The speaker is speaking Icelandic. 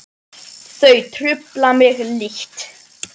Þau trufla mig lítt.